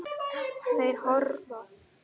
Þeir hörfa.